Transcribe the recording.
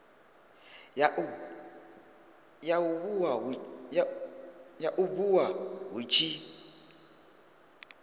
ya u bua hu tshi